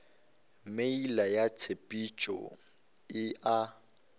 meela ya tshepetšo e a